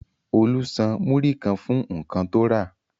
Olú san múrí kan fún nǹkan tó rà.